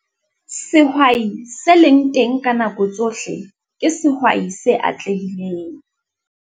Sehwai se leng teng ka nako tsohle ke sehwai se atlehileng.